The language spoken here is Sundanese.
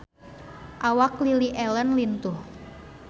Awak Lily Allen lintuh